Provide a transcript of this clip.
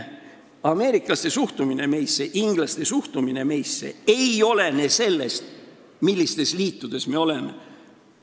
Ameeriklaste suhtumine meisse ja inglaste suhtumine meisse ei olene sellest, millistes liitudes me oleme.